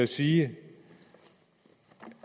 sige